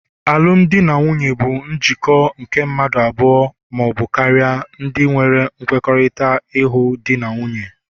alụmdi na nwunye bụ njikọ nke mmadụ abụọ ma ọ bụ karịa, ndinwere nkwekọrịta ịghọ Di na nwunye